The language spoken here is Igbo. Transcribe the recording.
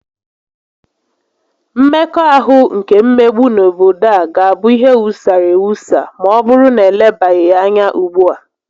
Mmekọahụ nke mmegbu n'obodo a ga-abụ ihe wusara ewusa ma ọbụrụ na elebaghị ya anya ugbua